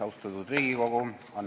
Austatud Riigikogu!